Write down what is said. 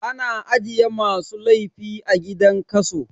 A na ajiye masu laifi a gidan kaso